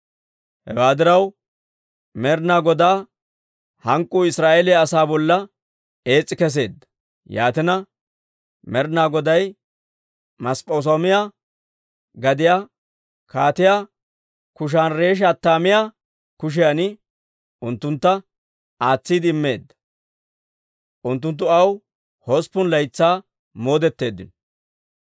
Hewaa diraw, Med'inaa Godaa hank'k'uu Israa'eeliyaa asaa bolla ees's'i kesseedda; yaatina, Med'inaa Goday Masp'p'es'oomiyaa gadiyaa Kaatiyaa Kushaani-Rish"ataymma kushiyan unttuntta aatsiide immeedda; unttunttu aw hosppun laytsaa moodetteeddino.